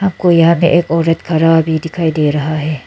कोई यहां पे एक औरत खड़ा भी दिखाई दे रहा है।